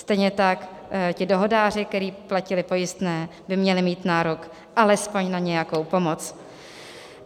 Stejně tak ti dohodáři, kteří platili pojistné, by měli mít nárok alespoň na nějakou pomoc.